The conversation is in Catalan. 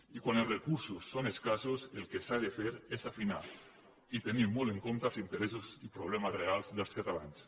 i quan els recursos són escassos el que s’ha de fer és afinar i tenir molt en compte els interessos i problemes reals dels catalans